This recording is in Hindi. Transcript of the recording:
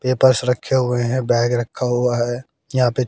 पेपर्स रखे हुए हैं बैग रखा हुआ है यहां पे--